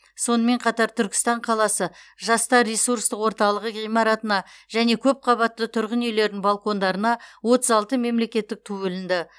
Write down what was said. сонымен қатар түркістан қаласы жастар ресурстық орталығы ғимаратына және көпқабатты тұрғын үйлердің балкондарына отыз алты мемлекеттік ту ілінді